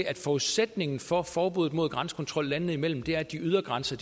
at forudsætningen for forbuddet mod grænsekontrol landene imellem er at de ydre grænser